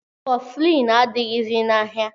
Kọflin adịghịzi n'ahịa